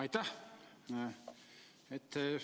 Aitäh!